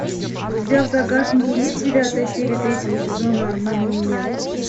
у тебя в загашнике есть девятая серия третьего сезона обмани меня